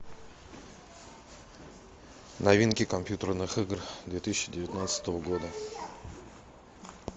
новинки компьютерных игр две тысячи девятнадцатого года